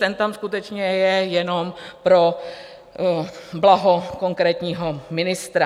Ten tam skutečně je jenom pro blaho konkrétního ministra.